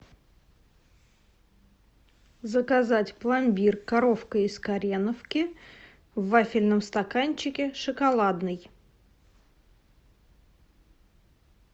заказать пломбир коровка из кореновки в вафельном стаканчике шоколадный